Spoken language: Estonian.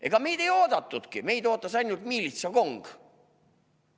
Ega meid ei oodatudki, meid ootas ainult miilitsakong.